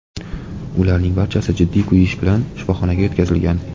Ularning barchasi jiddiy kuyish bilan shifoxonaga yetkazilgan.